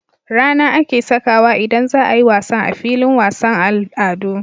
RAna ake sakawa idan zaayi wasan a filin wasan al'adu